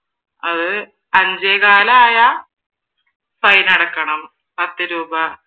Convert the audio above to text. അത് അഞ്ചേ കാൽ ആയാൽ ഫൈൻ അടക്കണം പത്ത് രൂപ